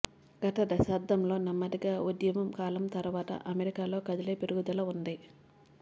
గత దశాబ్దంలో నెమ్మదిగా ఉద్యమం కాలం తర్వాత అమెరికాలో కదిలే పెరుగుదల ఉంది